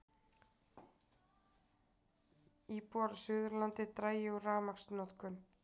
Íbúar á Suðurlandi dragi úr rafmagnsnotkun